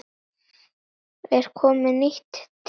Er komið nýtt tíst?